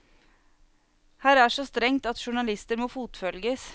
Her er så strengt at journalister må fotfølges.